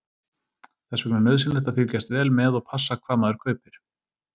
Þess vegna er nauðsynlegt að fylgjast vel með og passa hvað maður kaupir.